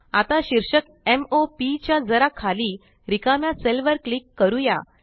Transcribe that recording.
आता शीर्षक m o P च्या जरा खाली रिकाम्या सेल वर क्लिक करूया